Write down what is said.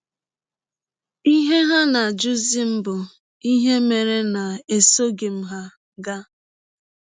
Ihe ha na - ajụzi m bụ ihe mere na esọghị m ha gaa.